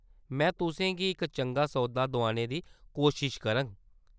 में तुसें गी इक चंगा सौदा दोआने दी कोशश करङ।